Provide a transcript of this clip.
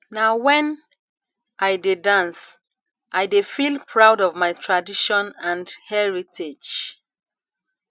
na wen i dey dance i dey feel proud of my tradition and heritage